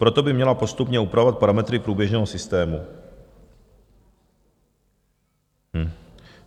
Proto by měla postupně upravovat parametry průběžného systému.